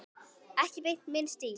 Ekki beint minn stíll.